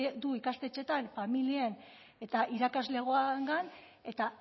du ikastetxeetan familien eta irakaslegoarengan eta